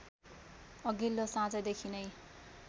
अघिल्लो साँझदेखि नै